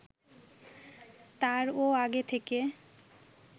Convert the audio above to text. তারও আগে থেকে